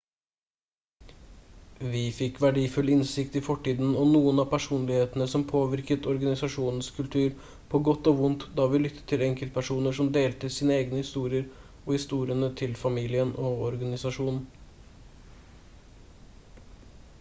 vi fikk verdifull innsikt i fortiden og noen av personlighetene som påvirket organisasjonens kultur på godt og vondt da vi lyttet til enkeltpersoner som delte sine egne historier og historiene til familien og organisasjonen